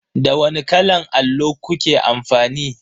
Da wani kalan allo kuke amfani?